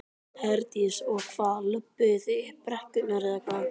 Herdís: Og hvað, löbbuðu þið upp brekkurnar eða hvað?